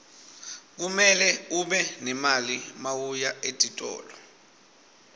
kumele ube nemali mawuya etitolo